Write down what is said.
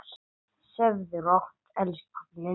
Sofðu rótt, elsku pabbi minn.